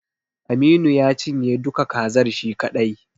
Aminu ya cinye duka kazar shi kaɗai.